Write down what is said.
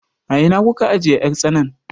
A ina kuka ajiye 'yar tsanan?